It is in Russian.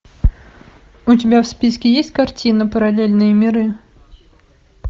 у тебя в списке есть картина параллельные миры